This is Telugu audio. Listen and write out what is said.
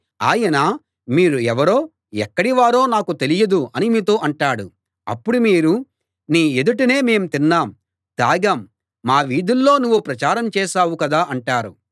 ఆయన మీరు ఎవరో ఎక్కడి వారో నాకు తెలియదు అని మీతో అంటాడు అప్పుడు మీరు నీ ఎదుటనే మేము తిన్నాం తాగాం మా వీధుల్లో నువ్వు ప్రచారం చేశావు కదా అంటారు